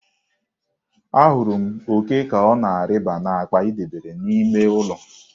Ahụrụ m òké ka ọ na-arịba n'akpa ị debere n'ime ụlọ.